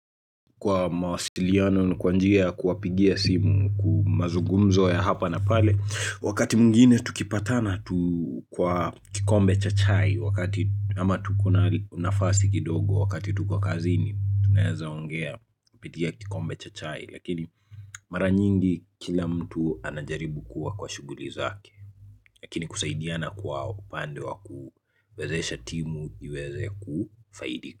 Kwa mawasiliano ni kwa njia kuwapigia simu kumazugumzo ya hapa na pale Wakati mwingine tukipatana tu kwa kikombe cha chai Wakati ama tuko na nafasi kidogo wakati tuko kazini Tuneza ongea kupitia kikombe cha chai Lakini mara nyingi kila mtu anajaribu kuwa kwa shughuli zake Lakini kusaidiana kwa upande wa kuwezesha timu iweze kufaidika.